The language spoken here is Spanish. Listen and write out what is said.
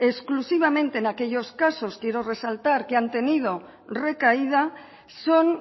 exclusivamente en aquellos casos quiero resaltar que han tenido recaída son